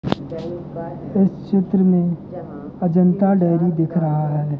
इस चित्र में अजंता डेयरी दिख रहा है।